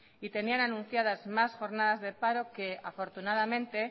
y tenían anunciadas más jornadas de paro que afortunadamente